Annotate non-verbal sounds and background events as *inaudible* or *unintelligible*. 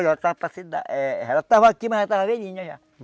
Olha, estava para *unintelligible* ela estava aqui, mas ela estava velhinha já.